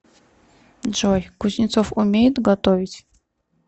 джой кузнецов умеет готовить